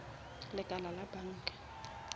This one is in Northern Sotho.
lekala la banka